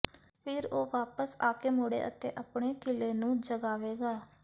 ਫ਼ਿਰ ਉਹ ਵਾਪਸ ਆਕੇ ਮੁੜੇ ਅਤੇ ਆਪਣੇ ਕਿਲ੍ਹੇ ਨੂੰ ਜਗਾਵੇਗਾ